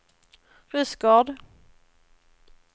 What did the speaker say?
Rydsgård